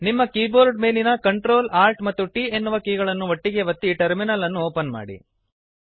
ನಿಮ್ಮ ಕೀಬೋರ್ಡ್ ಮೇಲಿನ Ctrl Alt ಮತ್ತು T ಎನ್ನುವ ಕೀಗಳನ್ನು ಒಟ್ಟಿಗೇ ಒತ್ತಿ ಟರ್ಮಿನಲ್ ಅನ್ನು ಓಪನ್ ಮಾಡಿರಿ